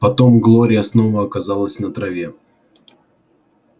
потом глория снова оказалась на траве